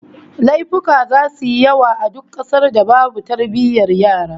Laifuka zasu yi yawa a duk kasar da babu tarbiyyar yara